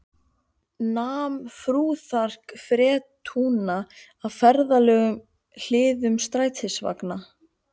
Nam fúþark fretrúna af ferðalöngum hliðum strætisvagna